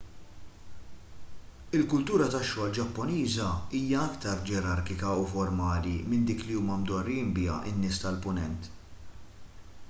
il-kultura tax-xogħol ġappuniża hija aktar ġerarkika u formali minn dik li huma mdorrijin biha n-nies tal-punent